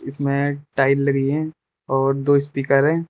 इसमें टाइल लगी हुई हैं और दो स्पीकर हैं।